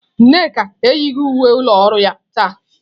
Nneka eyighị uwe ụlọ ọrụ ya taa.